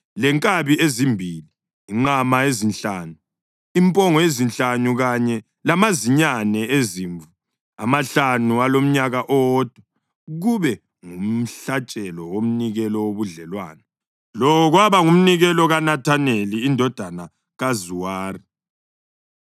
lenkabi ezimbili, inqama ezinhlanu, impongo ezinhlanu kanye lamazinyane ezimvu amahlanu alomnyaka owodwa, kube ngumhlatshelo womnikelo wobudlelwano. Lo kwaba ngumnikelo kaNethaneli indodana kaZuwari.